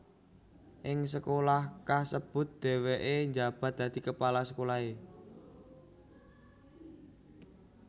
Ing sekolah kasebut dhèwèké njabat dadi kepala sekolahé